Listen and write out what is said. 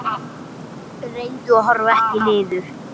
Reyndu að horfa ekki niður.